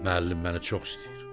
Müəllim məni çox istəyir.